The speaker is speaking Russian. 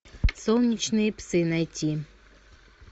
солнечные псы найти